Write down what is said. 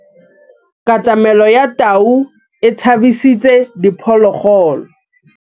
Katamêlô ya tau e tshabisitse diphôlôgôlô.